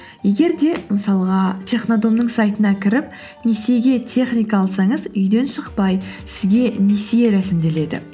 егер де мысалға технодомның сайтына кіріп несиеге техника алсаңыз үйден шықпай сізге несие рәсімделеді